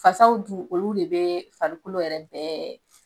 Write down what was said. Fasaw dun olu de be farikolo yɛrɛ bɛɛ